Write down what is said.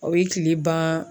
O ye tile ban.